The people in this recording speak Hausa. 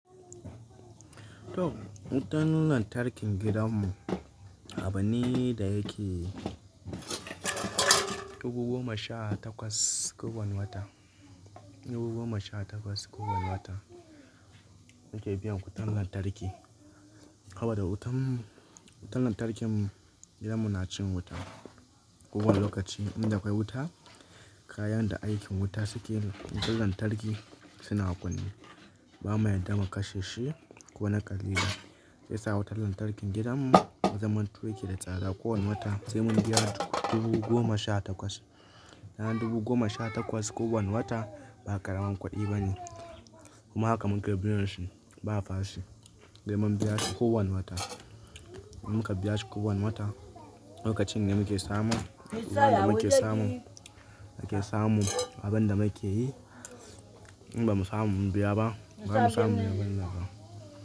To, wutan lantarkin gidan mu abune da yake dubu goma sha takwas kowane wata. Dubu goma sha takwas kowane wata muke biyan wutan lantarki. Haba da wutan, --wutan lantarkin gidanmu nacin wuta kowane lokaci. Inda kwai wuta kayan da aikin wuta suke yin wutan lantarki suna kunne. Bama yadda ma kashe shi ko na ƙalilan siyasa wutan lantarkin gidanmu zaman to yake da tsada kowane wata sai mun biya dubu goma sha takwas. Yana dubu goma sha takwas kowane wata ba ƙaramin kuɗi bane kuma haka muke biyanshi ba fashe. Sai mun biya shi kowane wata, in muka biya shi kowane wata lokacin da muke samun. Idan ba muke samu, muke samu abin da muke yi. In ba mu samu mun biya ba, ba mu samu muyi abin nan ba.